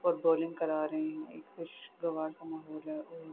اور بولنگ کرا رہے ہے۔ ایک خسگوار سا ماحول ہے۔